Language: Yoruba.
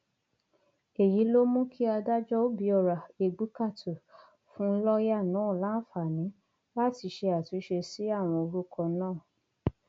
èyí ló mú kí adájọ òbíọra égbùkátù fún lọọyà náà láǹfààní láti ṣe àtúnṣe sí àwọn orúkọ náà